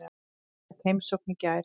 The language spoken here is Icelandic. Ég fékk heimsókn í gær.